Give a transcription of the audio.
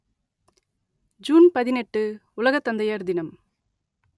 June பதினெட்டு உலக தந்தையர் தினம்